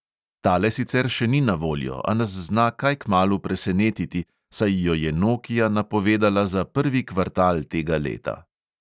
Tale sicer še ni na voljo, a nas zna kaj kmalu presenetiti, saj jo je nokia napovedala za prvi kvartal tega leta.